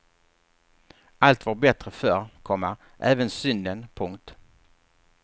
Allt var bättre förr, komma även synden. punkt